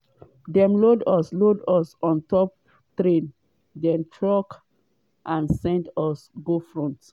“dem load us load us ontop trains den trucks and send us go front.